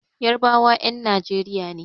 Yarbawa 'yan Nijeriya ne.